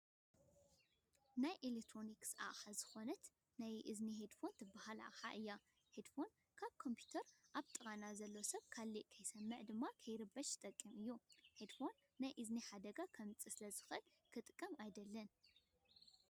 ካብ ናይ ኤሌክትሮንስ ኣቅሓ ዝኮነት ናይ እዝኒ ሄድፎን ዝበሃል ኣቅሓ እዩ ።ሄድፎን ካብ ኮምፑተር ኣብ ጥቃና ዘሎ ሰብ ካሊእ ክሰምዕ ወይ ድማ የክርበሽ ዝጠቅም እዩ። ሄድፎን ናይ እዝኒ ሓደጋ ከምፅእ ስለዝኽል ክጥቀሞ ኣይደልን።